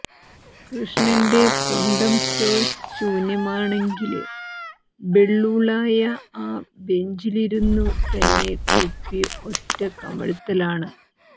കൃഷ്ണന്റെ പൊണ്ടം സ്റ്റോഴ്സ് ശൂന്യമാണെങ്കില് ബെള്ളുള്ളായ ആ ബെഞ്ചിലിരുന്നു തന്നെ കുപ്പി ഒറ്റ കമിഴ്ത്തലാണ്